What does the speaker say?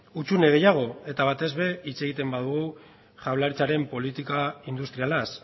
hutsune gehiago eta batez ere hitz egiten badugu jaurlaritzaren politika industrialaz